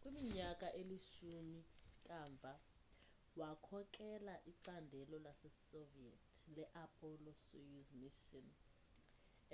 kwiminyaka elishumi kamva wakhokela icandelo lasesoviet le-apollo soyuz mission